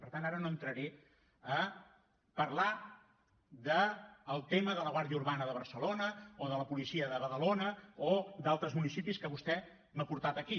per tant ara no entraré a parlar del tema de la guàrdia urbana de barcelona o de la policia de badalona o d’altres municipis que vostè m’ha portat aquí